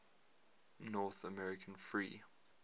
north american free